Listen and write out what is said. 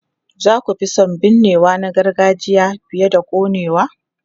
Za ku fi son binnewa na gargajiya fiye da konewa?